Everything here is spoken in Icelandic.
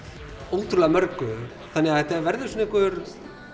ótrúlega mörgu þannig að þetta verður svona einhver